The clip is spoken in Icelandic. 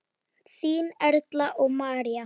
Þínar Erla og María.